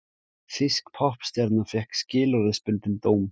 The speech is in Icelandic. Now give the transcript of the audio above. Þýsk poppstjarna fékk skilorðsbundinn dóm